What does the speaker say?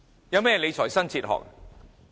有何理財新哲學？